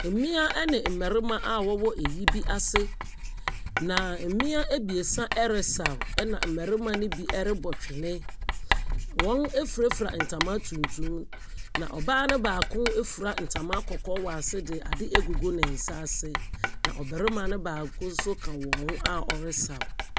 Mmea ne mmarima a wɔwɔ ayi bi ase na mmea abiesa resaw, na mmarima no rebɔ twene. Wɔn afurafura ntama tuntum na ɔbaa no baako afura ntama kɔkɔɔ wɔ ase de ade agugu ne nsa ase. Na ɔbarima nso baako ka wɔn ho a wɔresaw.